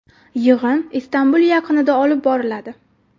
Yig‘in Istanbul yaqinida olib boriladi.